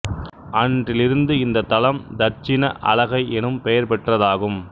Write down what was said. அன்றிலிருந்து இந்தத் தலம் தட்சிண அளகை எனும் பெயர் பெற்றதாம்